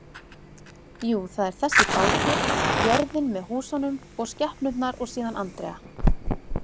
Jú, það er þessi bátur, jörðin með húsunum og skepnurnar og síðan Andrea.